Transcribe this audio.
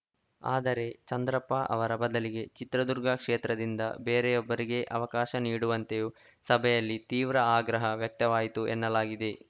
ಆದರೆ ಚಂದ್ರಪ್ಪ ಅವರ ಬದಲಿಗೆ ಚಿತ್ರದುರ್ಗ ಕ್ಷೇತ್ರದಿಂದ ಬೇರೆ ಒ ಬ್ಬರಿಗೆ ಅವಕಾಶ ನೀಡುವಂತೆಯೂ ಸಭೆಯಲ್ಲಿ ತೀವ್ರ ಆಗ್ರಹ ವ್ಯಕ್ತವಾಯಿತು ಎನ್ನಲಾಗಿದೆ